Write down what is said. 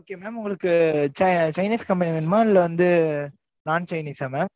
Okay mam உங்களுக்கு chinese company வேணுமா? இல்லை வந்து, non chinese ஆ mam